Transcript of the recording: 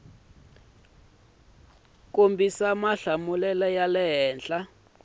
kombisa mahlamulelo ya le henhla